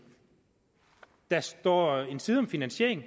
der står en side om finansiering